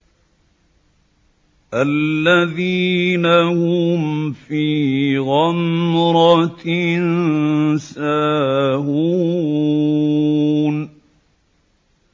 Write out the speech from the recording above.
الَّذِينَ هُمْ فِي غَمْرَةٍ سَاهُونَ